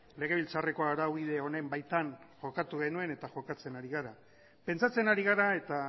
legebiltzarreko araubide honen baitan jokatu genuen eta jokatzen ari gara pentsatzen ari gara eta